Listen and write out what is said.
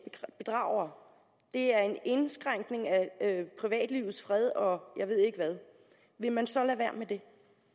bedragere det er en indskrænkning af privatlivets fred og jeg ved ikke hvad vil man så lade være med det